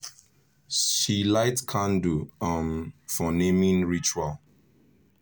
she light candle um for naming ritual.